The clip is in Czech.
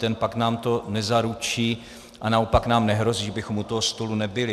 Ten pakt nám to nezaručí - a naopak nám nehrozí, že bychom u toho stolu nebyli.